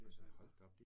Og så det bare